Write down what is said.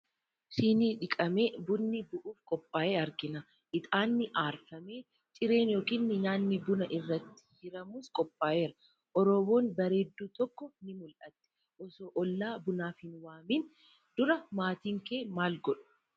Shinii dhiqamee bunni bu'uuf qophaa'e argina. Ixaanni aarfamee, cireen yookiin nyaatni buna irratti hiramus qophaa'eera. Orooboon bareedduu tokko ni mul'atti. Osoo ollaa bunaaf hin waamiin dura maatiin kee maal godhu?